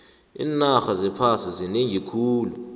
iinarha zephasi zinengi khulu